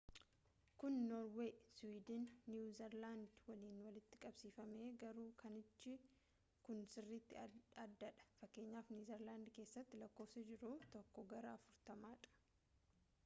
kun norweey siwiidin fi niwuu zeeland waliin walitti qabsifamee garuu kanaachi kun sirriiti addaa dha fkn. neezerland keessatti lakkoofsi jiru tokkoo gara afurtama dha